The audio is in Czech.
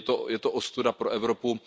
Je to ostuda pro Evropu.